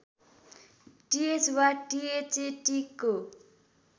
टिएच वा टिएचएटिको